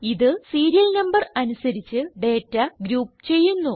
ഇത് serial number അനുസരിച്ച് data group ചെയ്യുന്നു